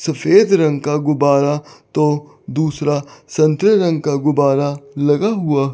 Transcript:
सफेद रंग का गुब्बारा तो दूसरा संतरे रंग का गुब्बारा लगा हुआ--